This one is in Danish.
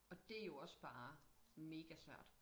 Og det jo også bare mega svært